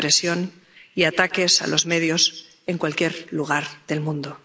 a la presión y a los ataques a los medios en cualquier lugar del mundo.